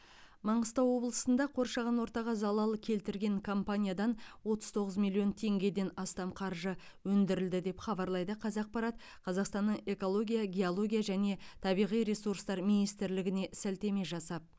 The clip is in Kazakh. маңғыстау облысында қоршаған ортаға залал келтірген компаниядан отыз тоғыз миллион теңгеден астам қаржы өндірілді деп хабарлайды қазақпарат қазақстанның экология геология және табиғи ресурстар министрлігіне сілтеме жасап